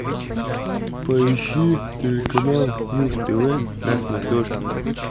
поищи телеканал муз тв на смотрешке